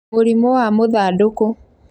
Mũrimũ wa mũthandũkũ